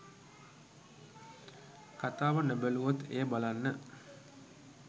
කතාව නොබැලුවත් එය බලන්න